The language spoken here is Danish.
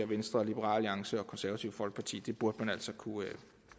venstre liberal alliance og det konservative folkeparti det burde man altså kunne